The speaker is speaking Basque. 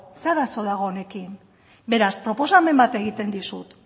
zein arazo dago honekin beraz proposamen bat egiten dizut